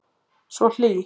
Svo hlý.